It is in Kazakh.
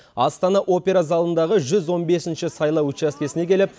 астана опера залындағы жүз он бесінші сайлау учаскесіне келіп